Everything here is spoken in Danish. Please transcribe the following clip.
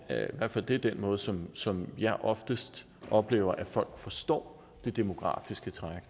og det er den måde som som jeg oftest oplever at folk forstår det demografiske træk